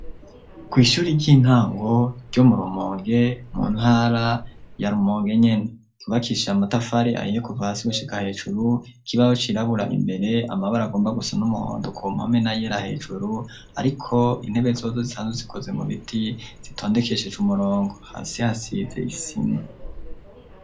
Kw'ishure ry'intango ryo murumonge mu ntara ya rumonge nyene ryubakishije amatafari ahiye kuva hasi gushika hejuru k'ibaho cirabura imbere amabare agomba gusa n'umuhondo ku mpame na yera hejuru ariko intebe zozo zisanzwe zikoze mu biti zitondekesheje umurongo hasi hasize isima.